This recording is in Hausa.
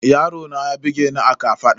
Yaron ya bugeni a kafaɗa